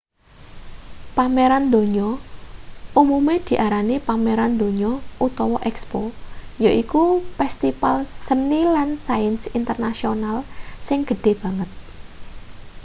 pameran donya umume diarani pameran donya utawa expo yaiku pestipal seni lan sains internasional sing gedhe banget